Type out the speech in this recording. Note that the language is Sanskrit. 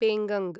पेङ्गङ्ग